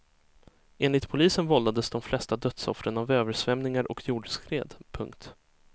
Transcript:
Enligt polisen vållades de flesta dödsoffren av översvämningar och jordskred. punkt